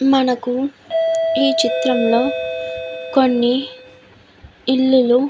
మనకు ఈ చిత్రం లో కొన్ని ఇల్లులు --